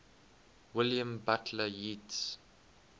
william butler yeats